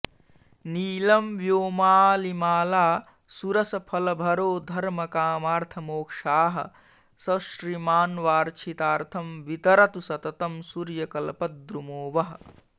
नीलं व्योमालिमाला सुरसफलभरो धर्मकामार्थमोक्षाः स श्रीमान्वाञ्छितार्थं वितरतु सततं सूर्यकल्पद्रुमो वः